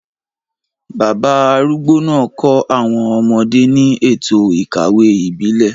Bàbá arúgbó náà kọ́ àwọn ọmọdé ní ètò ìkawó ìbílẹ̀,